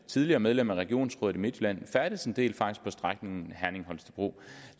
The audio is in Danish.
tidligere medlem af regionsrådet i midtjylland faktisk færdedes en del på strækningen herning holstebro